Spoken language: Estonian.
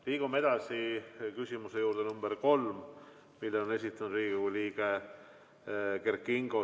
Liigume edasi kolmanda küsimuse juurde, mille on esitanud Riigikogu liige Kert Kingo.